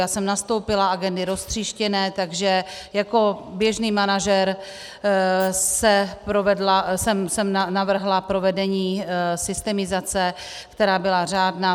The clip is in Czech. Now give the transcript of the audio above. Já jsem nastoupila, agendy roztříštěné, takže jako běžný manažer jsem navrhla provedení systemizace, která byla řádná.